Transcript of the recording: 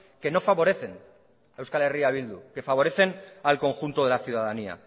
que no favorecen a euskal herria bildu que favorecen al conjunto de la ciudadanía